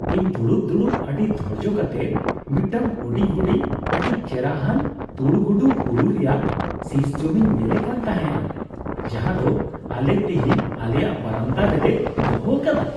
ᱤᱧ ᱫᱩᱲᱩᱵ ᱫᱩᱲᱩᱵ ᱟᱹᱰᱤ ᱫᱷᱳᱨᱡᱳ ᱠᱟᱛᱮ ᱢᱤᱫᱴᱟᱝ ᱦᱩᱰᱤᱧ ᱦᱩᱰᱤᱧ ᱟᱹᱰᱤ ᱪᱮᱨᱦᱟᱱ ᱛᱩᱲ ᱜᱩᱰᱩ ᱦᱩᱲᱩ ᱨᱮᱭᱟᱜ ᱥᱤᱥ ᱡᱚᱢᱤᱧ ᱧᱮᱞᱮ ᱠᱟᱱ ᱛᱟᱦᱮᱱᱟ ᱡᱟᱦᱟᱸᱫᱚ ᱟᱞᱮ ᱛᱤᱦᱤᱧ ᱟᱞᱮᱭᱟᱜ ᱵᱟᱨᱟᱱᱫᱟ ᱨᱮᱞᱮ ᱫᱚᱦᱚ ᱟᱠᱟᱫᱟ ᱾